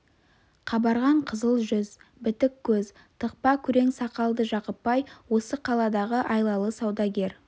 қабарған қызыл жүз бітік көз тықпа күрең сақалды жақып бай осы қаладағы айлалы саудагер